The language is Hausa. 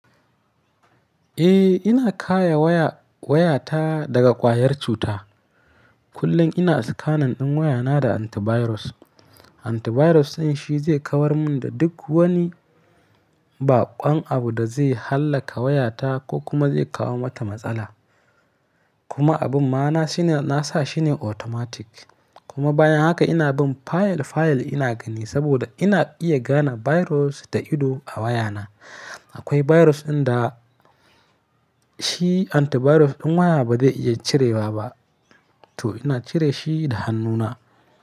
Eh ina kare waya, wayata daga ƙwayar cuta. Kullum ina scanan ɗin wayana da antivirus. Antivirus ɗin shi zai kawar mun da duk wani baƙon abu da zai hallaka wayata ko kuma zai kawo mata matsala. Kuma abin ma nasa shine nasa shine automatic kuma bayan haka ina bin fayil fayil ina gani saboda ina iya gane virus da ido a wayana. Akwai virus ɗin da shi antivirus ɗin waya ba zai iya cirewa ba to ina cire shi da hannuna.